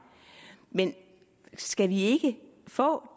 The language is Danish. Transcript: men skal vi ikke få